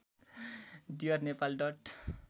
dear Nepal dot